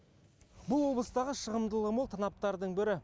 бұл облыстағы шығымдылығы мол танаптардың бірі